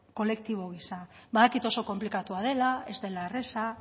kolektibo giza badakit oso konplikatua dela ez dela erraza